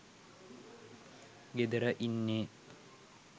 ගෙදර ඉන්නෙ